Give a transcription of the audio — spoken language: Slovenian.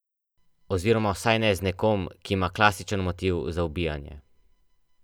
Oziroma vsaj ne z nekom, ki ima klasičen motiv za ubijanje.